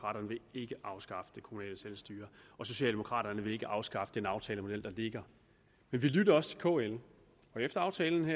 vil ikke afskaffe det kommunale selvstyre og socialdemokraterne vil ikke afskaffe den aftalemodel der ligger men vi lytter også til kl og efter at aftalen